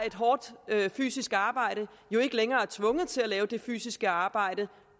et hårdt fysisk arbejde er ikke længere tvunget til at lave det fysiske arbejde